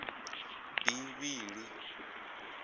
bivhili